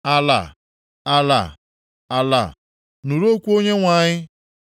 Ala, ala, ala, nụrụ okwu Onyenwe anyị.